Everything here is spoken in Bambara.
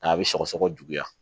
N'a bɛ sɔgɔsɔgɔ juguya